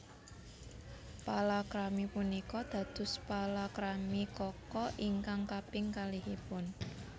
Palakrami punika dados palakrami Kaka ingkang kaping kalihipun